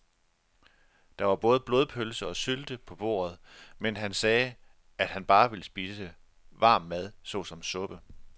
Der var både blodpølse og sylte på bordet, men han sagde, at han bare ville spise varm mad såsom suppe.